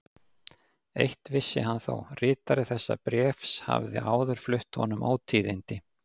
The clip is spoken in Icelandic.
Eitt vissi hann þó: ritari þessa bréfs hafði áður flutt honum ótíðindi.